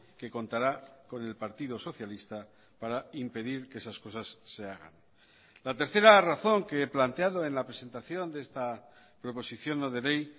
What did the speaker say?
que contará con el partido socialista para impedir que esas cosas se hagan la tercera razón que he planteado en la presentación de esta proposición no de ley